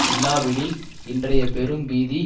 இல்லாவிடில் இன்றைய பெரும் பீதி